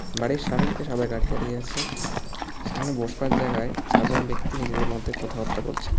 বাড়ির সামনে একটি সাদা গাড়ি দাঁড়িয়ে আছে সামনে বসবার জায়গায় চারজন ব্যক্তি নিজেদের মধ্যে কথাবার্তা বলছে।